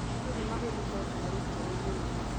Andũ nĩ magũrĩte ngari njerũ mũno.